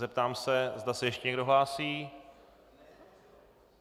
Zeptám se, zda se ještě někdo hlásí.